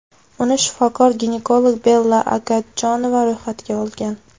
Uni shifokor-ginekolog Bella Agadjonova ro‘yxatga olgan.